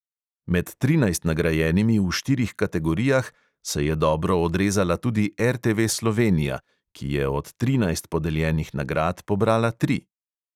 Med trinajst nagrajenimi v štirih kategorijah se je dobro odrezala tudi RTV slovenija, ki je od trinajst podeljenih nagrad pobrala tri.